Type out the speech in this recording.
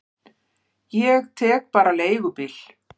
Ég tek bara leigubíl.